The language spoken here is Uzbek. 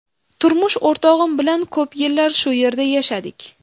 Turmush o‘rtog‘im bilan ko‘p yillar shu yerda yashadik.